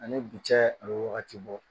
Ani bi cɛ a bɛ wagati bɔ